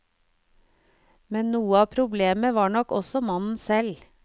Men noe av problemet var nok også mannen selv.